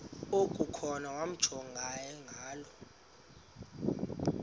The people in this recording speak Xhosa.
okukhona wamjongay ngaloo